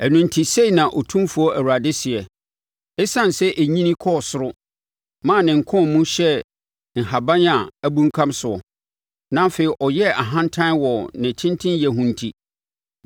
“ ‘Ɛno enti, sei na Otumfoɔ Awurade seɛ: Esiane sɛ ɛnyini kɔɔ soro, maa ne nkɔn mu hyɛɛ nhahan a abunkam soɔ, na afei ɔyɛɛ ahantan wɔ ne tentenyɛ ho enti,